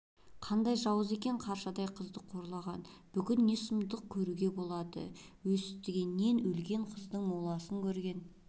қандай жауыз екен қаршадай қызды қорлаған бүгін не сұмдықты күтуге болады өстігеннен өлген қыздың моласын көрген